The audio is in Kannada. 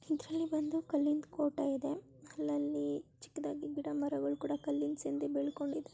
ಇದರಲ್ಲಿ ಬಂದು ಕಲ್ಲಿನ ಕೋಟೆ ಇದೆ ಅಲ್ಲಲ್ಲಿ ಚಿಕ್ಕದಾಗಿ ಗಿಡ ಮರಗಳು ಕೂಡ--